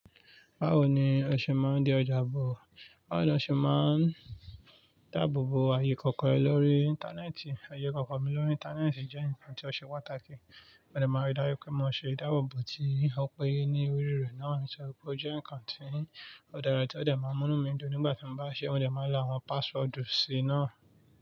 Báwo ni ọṣẹ máa ń di ọjà ààbò? Báwo ni ọ ṣẹ máa ń dáàbòbo ayé kọ̀ọ̀kan lórí Íńtánẹ́ẹ̀tì? Ayé ikọ̀kọ̀ mi lórí Íńtánẹ́ẹ̀tì jẹ́ ǹkan tí ọ ṣẹ pàtàkì. Wọ́n de máa ń rí dájú pé mo ṣe ìdáàbòbo tí ó péye ní orí rẹ̀ náà, mo sì rò pé ó jẹ́ ǹkan tí ó dára tí ó de máa ń nú mídún nígbà tí mo bá ṣe é, wọ́n dè máa lo àwọn páṣsword sí i náà.